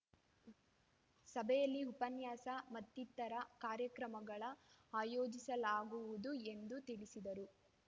ಸಭೆಯಲ್ಲಿ ಉಪನ್ಯಾಸ ಮತ್ತಿತರ ಕಾರ್ಯಕ್ರಮಗಳ ಆಯೋಜಿಸಲಾಗುವುದು ಎಂದು ತಿಳಿಸಿದರು